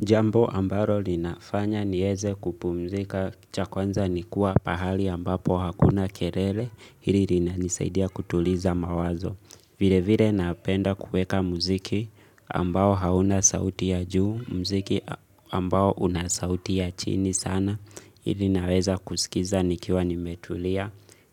Jambo ambalo linafanya niweze kupumzika cha kwanza nikuwa pahali ambapo hakuna kelele hili lina nisaidia kutuliza mawazo. Vile vile napenda kuweka muziki ambao hauna sauti ya juu, muziki ambao unasauti ya chini sana hili naweza kuskiza nikiwa nimetulia.